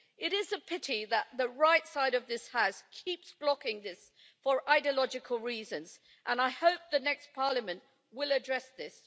It is a pity that the right side of this House keeps blocking this for ideological reasons, and I hope the next Parliament will address this.